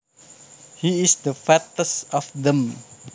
He is the fattest of them